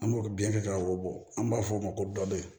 An b'o biyɛn kɛ ka wo bɔ an b'a f'o ma ko dɔbɛ